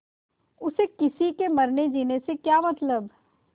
उसे किसी के मरनेजीने से क्या मतलब